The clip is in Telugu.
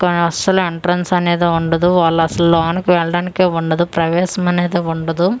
కానీ అస్సలు ఎంట్రన్స్ అనేదే వుండదు వాల్లసలు లోనకెల్డానీకే వుండదు ప్రవేస్మ్ అనేదే వుండదు .]